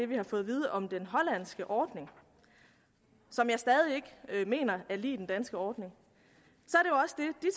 vi har fået at vide om den hollandske ordning som jeg stadig ikke mener er lig den danske ordning